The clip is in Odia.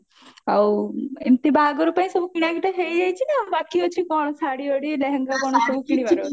ଆଉ ବାହାଘର ପାଇଁ ସବୁ କିଣି କିଟା ହେଇଯାଇଚି ନା ବାକି ଅଛି କଣ ଶାଢୀ ଫାଡି ଲେହେଙ୍ଗା